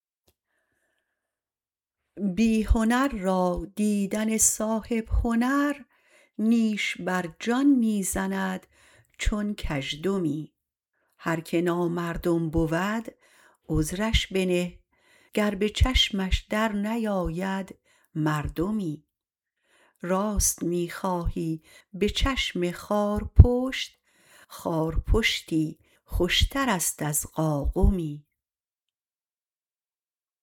بی هنر را دیدن صاحب هنر نیش بر جان می زند چون کژدمی هر که نامردم بود عذرش بنه گر به چشمش درنیاید مردمی راست می خواهی به چشم خارپشت خار پشتی خوشترست از قاقمی